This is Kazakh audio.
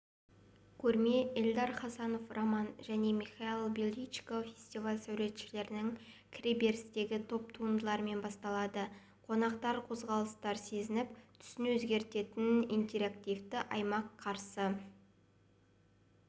көрме эльдар хасанов роман және михаил беличко фестиваль сәулетшілерінің кіреберістегі топ туындыларымен басталады қонақтарды қозғалыстарды сезініп түсін өзгертетін интерактивті аймақ қарсы